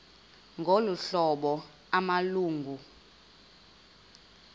ngolu hlobo amalungu